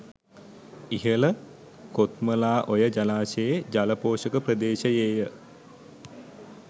ඉහළ කොත්මලා ඔය ජලාශයේ ජල පෝෂක ප්‍රදේශයේය